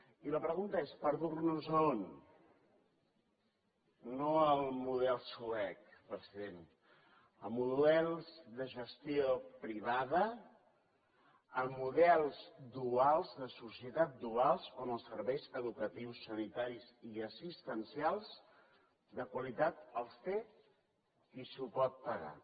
i la pregunta és per dur nos a on no al model suec president a models de gestió privada a models duals de societats duals on els serveis educatius sanitaris i assistencials de qualitat els té qui se’ls pot pagar